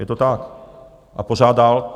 Je to tak a pořád dál.